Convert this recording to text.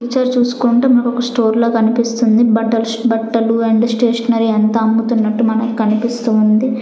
Picture చూసుకుంటే మనకొక store లా కనిపిస్తుంది బట్టల్ బట్టలు అండ్ స్టేషనరీ అంత అమ్ముతునటునట్టు మనకనిపిస్తూ ఉంది.